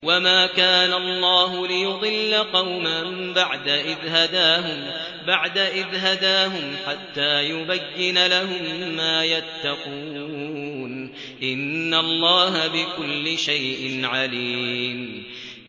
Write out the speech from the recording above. وَمَا كَانَ اللَّهُ لِيُضِلَّ قَوْمًا بَعْدَ إِذْ هَدَاهُمْ حَتَّىٰ يُبَيِّنَ لَهُم مَّا يَتَّقُونَ ۚ إِنَّ اللَّهَ بِكُلِّ شَيْءٍ عَلِيمٌ